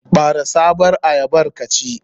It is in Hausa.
Ɓare sabon ayyabar ka ci.